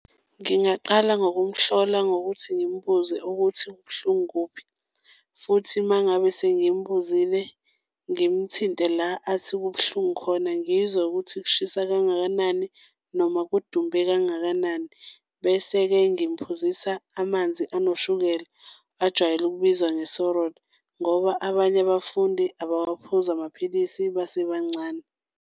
Ngingaqala ngokumhlola ngokuthi ngimbuze ukuthi kubuhlungu kuphi futhi, uma ngabe sengimbuzile ngimthinte la athi kubuhlungu khona, ngizwe ukuthi kushisa kangakanani noma kudumbe kangakanani. Bese-ke ngimphuzisa amanzi anoshukela ajwayelwe okubizwa ngoba abanye abafundi abawaphuzi amapilisi basebancane.